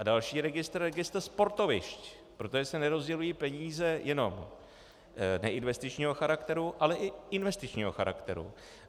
A další registr - registr sportovišť, protože se nerozdělují peníze jenom neinvestičního charakteru, ale i investičního charakteru.